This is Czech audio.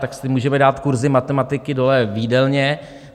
Tak si můžeme dát kurzy matematiky dole v jídelně.